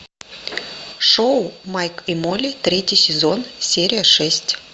шоу майк и молли третий сезон серия шесть